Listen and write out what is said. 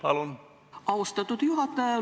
Aitäh, austatud juhataja!